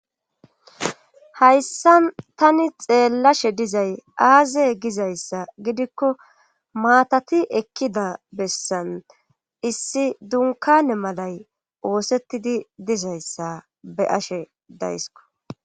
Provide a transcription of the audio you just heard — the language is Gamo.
hayssan tani xeellashe dizay aaze gizayssa gidikko maatati eqidaa bessan issi dunkane malay oosettidi dizayssa be ashe daysko